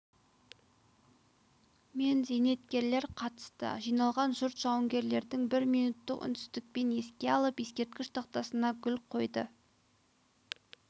мен зейнеткерлер қатысты жиналған жұрт жауынгерлерді бір минуттық үнсіздікпен еске алып ескерткіш тақтасына гүл қойды